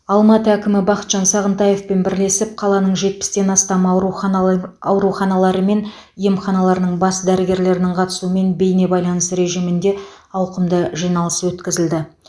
алматы әкімі бақытжан сағынтаевпен бірлесіп қаланың жетпістен астам ауруханалр ауруханалары мен емханаларының бас дәрігерлерінің қатысуымен бейнебайланыс режимінде ауқымды жиналыс өткізілді